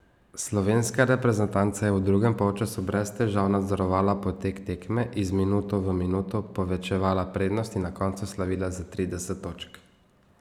Slovenska reprezentanca je v drugem polčasu brez težav nadzorovala potek tekme, iz minuto v minuto povečevala prednost in na koncu slavila za trideset točk.